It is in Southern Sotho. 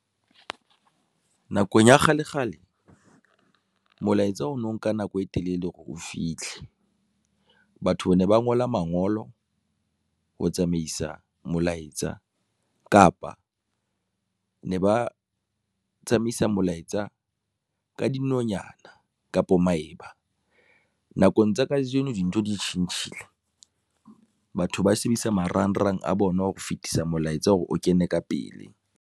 Nakong ya kgale kgale molaetsa o no nka nako e telele hore o fitlhe. Batho bane ba ngola mangolo ho tsamaisa molaetsa kapa ne ba tsamaisa molaetsa ka dinonyana kapo maeba. Nakong tsa kajeno dintho di tjhentjhile batho ba sebedisa marangrang a bona ho fetisa molaetsa hore o kene ka pele.